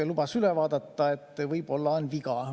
Lubas üle vaadata, et võib-olla on viga.